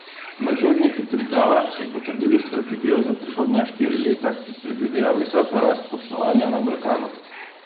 Nadzorniki Triglava so potrdili strategijo za prihodnja štiri leta, ki predvideva visoko rast poslovanja na Balkanu.